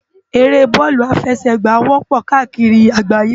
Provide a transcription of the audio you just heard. Éré bòlú áfèsègbá wòpò kàákiri àgbáyé